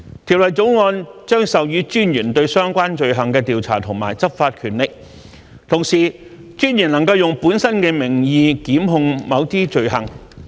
《條例草案》將授予私隱專員對相關罪行的調查及執法權力，同時，私隱專員能用本身的名義檢控某些罪行。